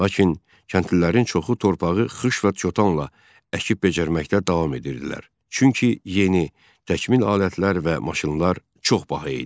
Lakin kəndlilərin çoxu torpağı xış və çotanla əkib becərməkdə davam edirdilər, çünki yeni təkmil alətlər və maşınlar çox baha idi.